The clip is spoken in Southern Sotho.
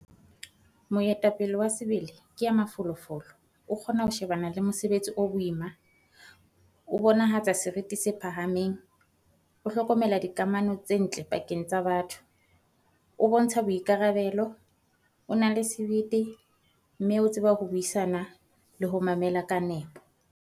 Moetapele wa sebele ke ya mafolofolo, o kgona ho shebana le mosebetsi o boima, o bonahatsa seriti se phahameng, o hlokomela dikamano tse ntle pakeng tsa batho, o bontsha boikarabelo, o na le sebete, mme o tseba ho buisana le ho mamela ka nepo.